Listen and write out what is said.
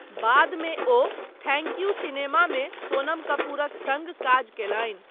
बाद मे ओ 'थैंक यू' सिनेमामे सोनम कपूरक सङ्ग काज कयलनि।